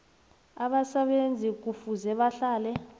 abasebenzi kufuze bahlale